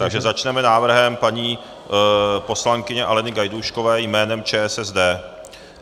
Takže začneme návrhem paní poslankyně Aleny Gajdůškové jménem ČSSD.